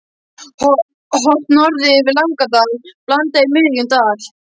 Horft norður yfir Langadal- Blanda í miðjum dal.